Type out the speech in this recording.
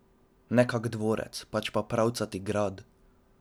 Ne kak dvorec, pač pa pravi pravcati grad!